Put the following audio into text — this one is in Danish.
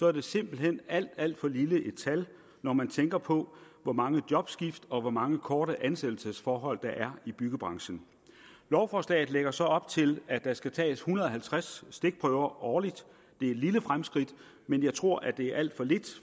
er det simpelt hen alt alt for lille et tal når man tænker på hvor mange jobskift og hvor mange korte ansættelsesforhold der er i byggebranchen lovforslaget lægger så op til at der skal tages en hundrede og halvtreds stikprøver årligt det er et lille fremskridt men jeg tror det er alt for lidt